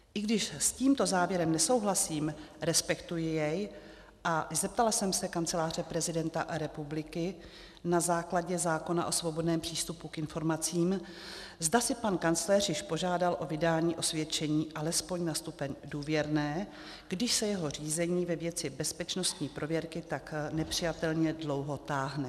I když s tímto závěrem nesouhlasím, respektuji jej, a zeptala jsem se Kanceláře prezidenta republiky na základě zákona o svobodném přístupu k informacím, zda si pan kancléř již požádal o vydání osvědčení alespoň na stupeň důvěrné, když se jeho řízení ve věci bezpečnostní prověrky tak nepřijatelně dlouho táhne.